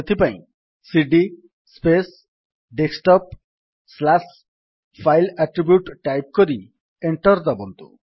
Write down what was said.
ସେଥିପାଇଁ CD space desktop slash file attribute type କରି enter ଦାବନ୍ତୁ